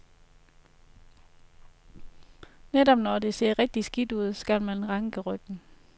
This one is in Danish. Netop når det ser rigtigt skidt ud, skal man ranke ryggen.